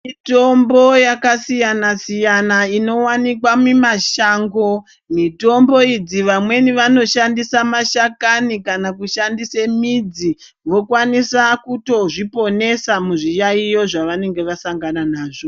Mitombo yakasiyana-siyana inovanikwa mimashango. Mitombo idzi vamweni vanoshandisa mashakani kana kushandise midzi. Vokwanisa kutozviponesa muzviyaiyo zvavanenge vasangana nazvo.